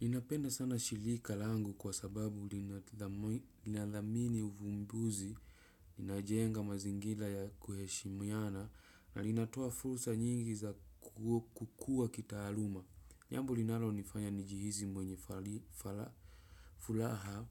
Ninapenda sana shilika langu kwa sababu linadhamini uvumbuzi, ninajenga mazingila ya kuheshimiana na linatoa fulsa nyingi za kukua kita aluma. Jambo linalo nifanya njihizi mwenye fulaha